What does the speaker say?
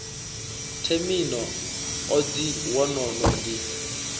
themino odzhi wo no ḓi